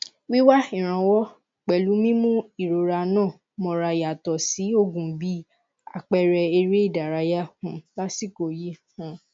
wíwá ìrànwọ pẹlú mímú ìrora ńà mọra yàtọ sí òògùn bí àpẹẹrẹ eré ìdárayá um lásìkò yìí um